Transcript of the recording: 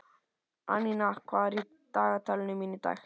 Annika, hvað er í dagatalinu mínu í dag?